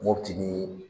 Mopti ni